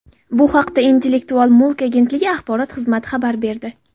Bu haqda Intellektual mulk agentligi axborot xizmati xabar berdi .